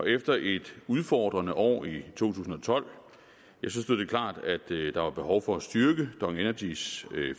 efter et udfordrende år i to tusind og tolv stod det klart at der var behov for at styrke dong energys